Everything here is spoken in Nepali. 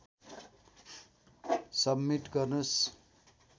सब्मिट गर्नुस्